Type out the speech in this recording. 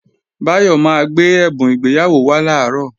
Báyọ̀ máa gbé ẹ̀bùn ìgbéyàwó wá làárọ̀